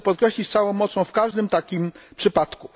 Chcę podkreślić z całą mocą w każdym takim przypadku.